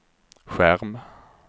skärm